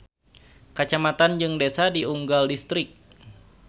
Kacamatan jeung desa di unggal distrik.